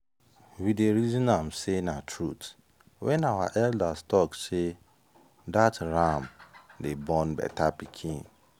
we dey reason am say na truth when our elders talk say “that ram dey born better pikin.”